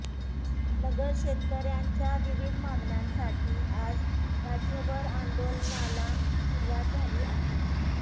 नगर शेतकऱ्यांच्या विविध मागण्यांसाठी आज राज्यभर आंदोलनाला सुरुवात झाली आहे